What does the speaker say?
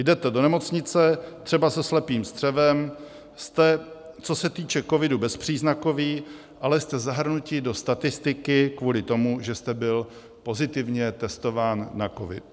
Jdete to nemocnice třeba se slepým střevem, jste, co se týče covidu, bezpříznakoví, ale jste zahrnuti do statistiky kvůli tomu, že jste byl pozitivně testován na covid.